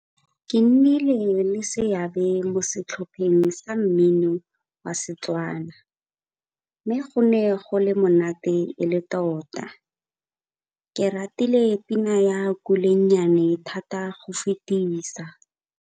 Ke nnile le seabe mo setlhopheng sa mmino wa Setswana mme go ne go le monate e le tota. Ke ratile pina ya Kulenyane thata go fetisa.